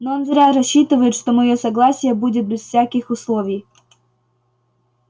но он зря рассчитывает что моё согласие будет без всяких условий